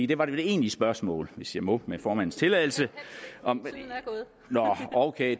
det var det egentlige spørgsmål hvis jeg må med formandens tilladelse nå ok